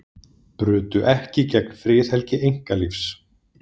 Brutu ekki gegn friðhelgi einkalífs